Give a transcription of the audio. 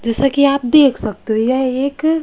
जैसा कि आप देख सकते हो यह एक--